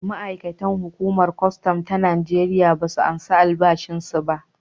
Ma’aikatan hukumar kwastam ta Najeriya ba su karbi albashinsu ba.